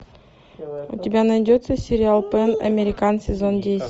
у тебя найдется сериал пэн американ сезон десять